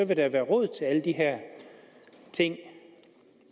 der være råd til alle de her ting